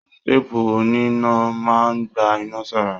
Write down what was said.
Teepu oníná máa n gbà iná sára.